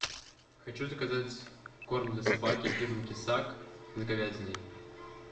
хочу заказать корм для собаки фирмы кисак с говядиной